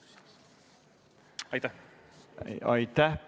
Aitäh!